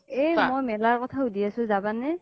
এই মই মেলাৰ কথা সুধি আছো জাবা নে